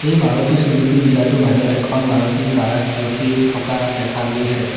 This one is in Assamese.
মাৰুতি চুজোকি ডিলাৰ টোৰ বাহিৰত এখন মাৰুটি কাৰ ৰখি থকা দেখা গৈছে।